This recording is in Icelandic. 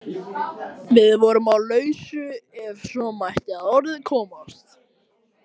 Við vorum á lausu ef svo mætti að orði komast.